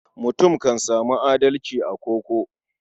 Mutum kan sami adalci a koko.